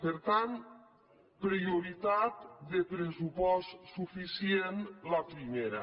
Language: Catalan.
per tant prioritat de pressupost suficient la primera